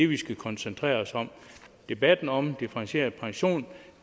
vi skal koncentrere os om debatten om differentieret pension